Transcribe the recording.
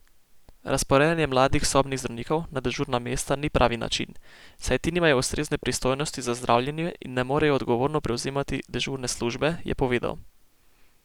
Razporejanje mladih sobnih zdravnikov na dežurna mesta ni pravi način, saj ti nimajo ustrezne pristojnosti za zdravljenje in ne morejo odgovorno prevzemati dežurne službe, je povedal.